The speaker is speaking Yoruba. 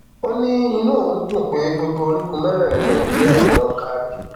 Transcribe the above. ó ní inú òun dùn pé gbogbo orígun mẹrẹẹrin nàìjíríà ni wọn kárí